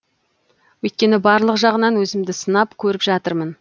өйткені барлық жағынан өзімді сынап көріп жатырмын